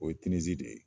O ye tinizi de ye